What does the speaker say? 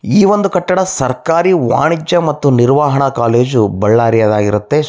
ಈ ಒಂದು ಕಟ್ಟಡ ಸರ್ಕಾರಿ ವಾಣಿಜ್ಯ ಮತ್ತು ನಿರ್ವಹಣಾ ಕಾಲೇಜು ಬಳ್ಳಾರಿ ಯದ್ ಆಗಿರುತ್ತದೆ